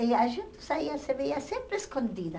E a gente saía, se via sempre escondida.